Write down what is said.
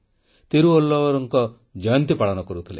ତିରୁୱଲ୍ଲୁୱରଙ୍କ ଜୟନ୍ତୀ ପାଳନ କରୁଥିଲେ